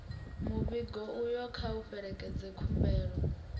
muvhigo uyo kha u fhelekedze khumbelo